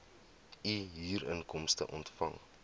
u huurinkomste ontvang